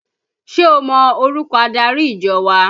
Ṣé o mọ orúkọ adarí ìjọ wa?